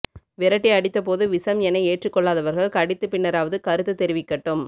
விரட்டி அடித்த போது விசம் என ஏற்றுக்கொள்ளாதவர்கள் கடித்து பின்னராவது கருத்து தெரிவிக்கட்டும்